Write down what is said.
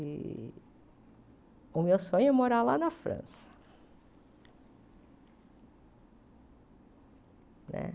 E o meu sonho é morar lá na França né.